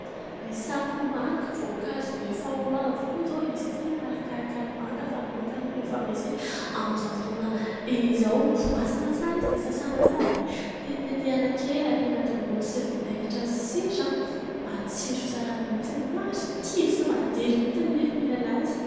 Ny sakoamanga, voankazo efa ho avy koa izao izy ity manarakaraka ny manga fa ny manga aloha na efa misy amin'izao fotoana izao. Voasana tsara izy dia sasana tsara dia tetitetehina kely, ampiana tongolo sy vinaigitra sy sira. Matsiro tsara mihitsy, marikivy sy madilo mihitsy ny nify mihinana azy.